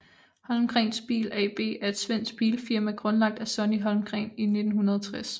Holmgrens Bil AB er et svensk bilfirma grundlagt af Sonny Holmgren i 1960